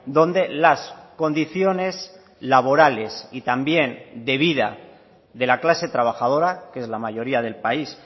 donde las condiciones laborales y también de vida de la clase trabajadora que es la mayoría del país